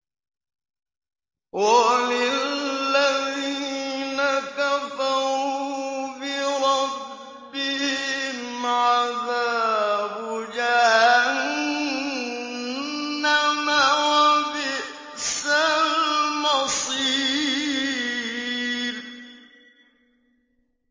وَلِلَّذِينَ كَفَرُوا بِرَبِّهِمْ عَذَابُ جَهَنَّمَ ۖ وَبِئْسَ الْمَصِيرُ